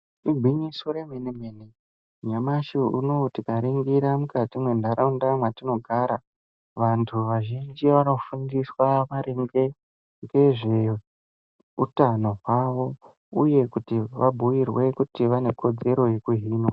Igwinyiso remene- mene nyamashi unowu tikaringira mukati mendaraunda mwetinogara, vantu vazhinji vanofundiswa maringe ngezveutano hwawo, uye kuti vabhuirwe kuti vane kodzero yekuhinwa.